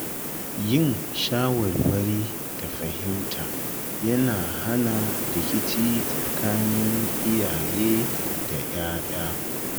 Yin shawarwari da fahimta yana hana rikici tsakanin iyaye da ‘ya’ya.